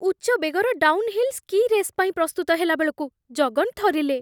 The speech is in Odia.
ଉଚ୍ଚ ବେଗର ଡାଉନ୍ ହିଲ୍ ସ୍କି ରେସ୍ ପାଇଁ ପ୍ରସ୍ତୁତ ହେଲାବେଳକୁ ଜଗନ୍ ଥରିଲେ।